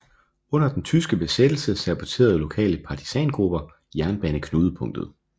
Under den tyske besættelse saboterede lokale partisangrupper jernbaneknudepunktet